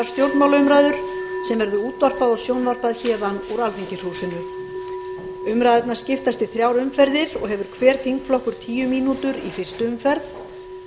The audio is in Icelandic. stjórnmálaumræður sem verður útvarpað og sjónvarpað héðan úr alþingishúsinu umræðurnar skiptast í þrjár umferðir og hefur hver þingflokkur tíu mínútur í fyrstu umferð